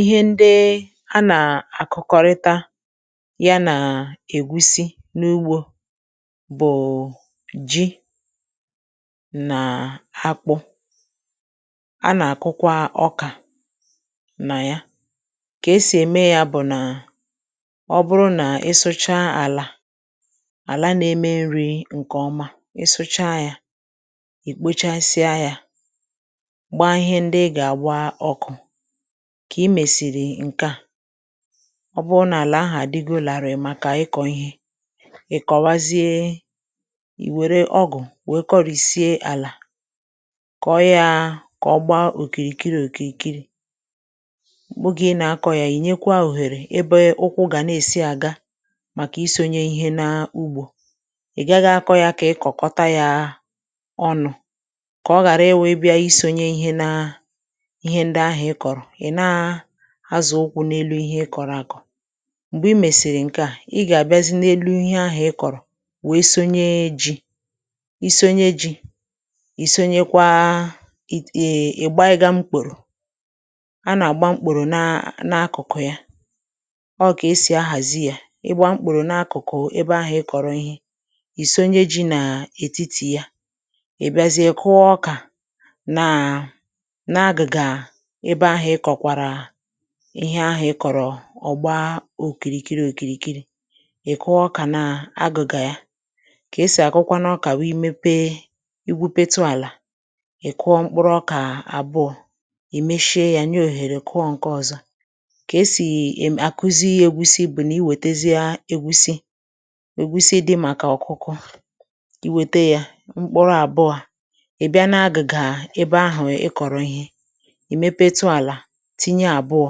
ihe ndị a nà-àkọkarịta ya nà ègusi n’ugbō bụ̀ ji na akpụ a nà-àkụkwa ọkà nà ya kà esì ème ya bụ̀ nà ọ bụrụ nà ịsụcha àlà àla na-eme nrī ǹkè ọma ịsụcha yā ì kpochasịa ya gbaa ihe ndị ị gà-àgba ọkụ kà ị mèsìrì ǹke a ọ bụrụ nà àlà ahụ̀ à dịgo làrị̀ màkà ịkọ ihe ị̀kọwazie ì wère ọgụ̀ wee kọrị̀sie àlà kọọ yā kà ọ gbaa òkìrìòkìrì ogè ị nà-akọ̄ ya ìnyekwa òhère ebe ukwu gà na-èsi àga màkà isōnye ihe n’ugbō ị̀gaghị̄ akọ̄ ya kà ị kọ̀kọta ya ọnụ kà ọ ghàra ị wụ ị bịa isōnye ihe na ihe ndị ahụ̀ ịkọ̀rọ̀ ị̀ na asọ̀ ukwu n’elu ihe ịkọ̀rọ̀ àkọ̀ m̀gbè ị mèsìrì ǹke a ị gà-àbịazị n’elu ihe ahụ̀ ịkọ̀rọ̀ wee sonye ji isonye ji ìsonyekwa ète ị̀gbanyega ukpòrò a nà-àgba mkpòrò n’akụkụ ya ọ kà esì ahàzị yā ị gbaa mkpòrò n’akụkụ ebe ahụ ịkọ̀rọ̀ ihe ìsonye ji n’ètitì ya ị̀ bịazie kụ̀ọ ọkà na n’agị̀gà ebe ahụ ịkọ̀kwàrà ihe ahụ̀ ịkọ̀rọ̀ ọ gbaa òkìrìkiri òkìrìkiri ị̀ kụọ ọkà n’agụ̀gà ya kà esì àkụkwanụ ọkà wụ i mepe ikwūpetu àlà ị̀ kụọ mkpuu ọkà àbụọ ì meshie yā nye òhèrè kụọ ǹke ọ̀zọ kà esì ème àkụzị ègusi bụ̀ na iwètezie ègusi ègusi dị màkà ọ̀kụkụ i wète ya mkpuru àbụọ ị̀ bịa n’agị̀gà ebe ahụ̀ ịkọ̀rọ̀ ihe ì mepetu àlà tinye àbụọ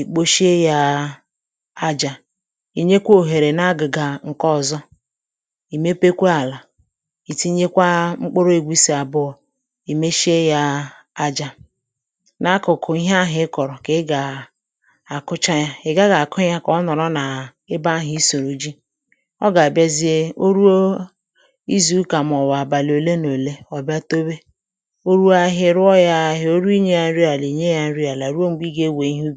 ì kposhie ya ajā ì nyekwa òhèrè n’agịgà ǹke ọ̀zọ ì mepekwa àlà ì tinyekwa mkpuru ègusi àbụọ ì meshie yā aja n’akụ̀kụ̀ ihe ahụ̀ ịkọ̀rọ̀ kà ị gà àkụcha ya ị̀ gaghị̄ àkụ ya kà ọ nọ̀rọ̀ n’ebe ahụ̀ ịsụ̀rụ̀ ji ọ gà àbịazie o ruo izù ụkà màọbụ̀ àbàlị ọ̀ bịa towe o ruo ahịhịa ì ruo yā ahịhịa o ru inyē ya nri àlà ruo m̀gbè ị gà-ewè ihe ubì